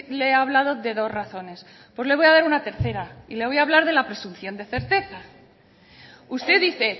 le he hablado de dos razones pues le voy a dar una tercera y le voy hablar de la presunción de certeza usted dice